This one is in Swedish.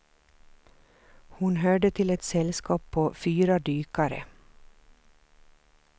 Hon hörde till ett sällskap på fyra dykare.